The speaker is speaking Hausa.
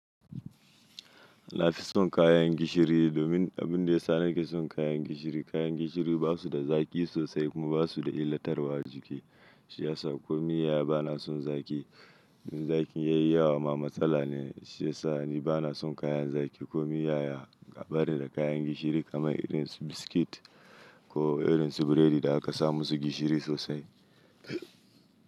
Na fi son kayan gishiri domin abin da ya sa na ke son kayan gishiri, kayan gishiri ba su da zaƙi sosai kuma ba su da illatarwa a jiki. Shi ya sa ko miya bana son zaƙi. In zaƙi ya yi yawa ma matsala ne. Shi ya sa ni bana son kayan zaƙi ko miya. A barni da kayan gishiri kamar irin su biskit ko irin su burodi da aka sa musu gishiri sosai.